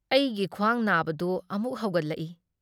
ꯑꯩꯒꯤ ꯈ꯭꯭ꯋꯥꯡ ꯅꯥꯕꯗꯨ ꯑꯃꯨꯛ ꯍꯧꯒꯠꯂꯛꯏ ꯫